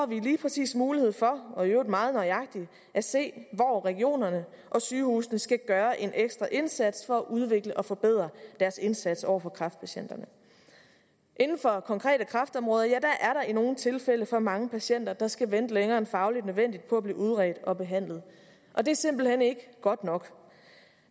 vi lige præcis mulighed for og i øvrigt meget nøjagtigt at se hvor regionerne og sygehusene skal gøre en ekstra indsats for at udvikle og forbedre deres indsats over for kræftpatienterne inden for konkrete kræftområder er nogle tilfælde for mange patienter der skal vente længere end fagligt nødvendigt på at blive udredt og behandlet og det er simpelt hen ikke godt nok